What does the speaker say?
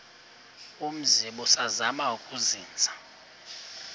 umzi ubusazema ukuzinza